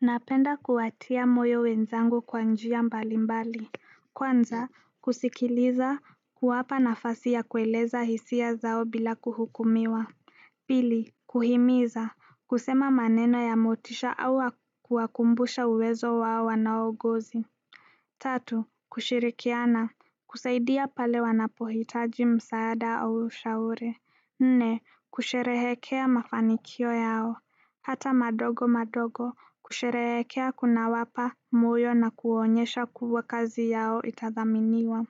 Napenda kuwatia moyo wenzangu kwa njia mbali mbali kwanza kusikiliza kuwapa nafasi ya kueleza hisia zao bila kuhukumiwa pili kuhimiza kusema maneno ya motisha au wa kuwakumbusha uwezo wao wanaogozi tatu kushirikiana kusaidia pale wanapohitaji msaada au ushauri nne, kusherehekea mafanikio yao. Hata madogo madogo, kusherehekea kuna wapa moyo na kuonyesha kubwa kazi yao itathaminiwa.